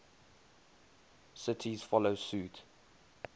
cities follow suit